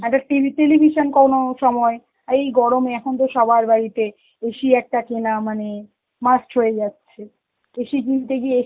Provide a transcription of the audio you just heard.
একটা TV television কোনো সময়, আর এই গরমে এখন তো সবার বাড়িতে AC একটা কেনা মানে must হয়ে যাচ্ছে, AC কিনতে গিয়ে